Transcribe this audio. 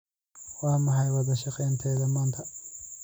Waa maxay wadashaqeynteyda maanta?